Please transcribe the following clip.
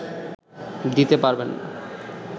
দিতে পারবে না